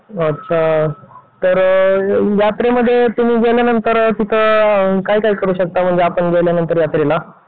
अच्छा तर यात्रेमध्ये तुम्ही गेल्यांनतर तिथे काय काय करू शकता? म्हणजे आपण गेल्यानंतर यात्रेला